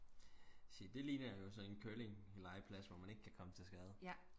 se det ligner jo sådan en curlinglejeplads hvor man ikke kan komme til skade